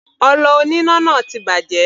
Ọlọ oníná náà ti bàjẹ́.